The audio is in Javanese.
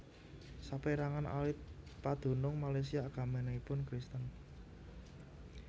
Saperangan alit padunung Malaysia agaminipun Kristen